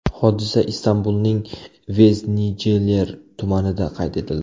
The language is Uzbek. Hodisa Istanbulning Veznijiler tumanida qayd etildi.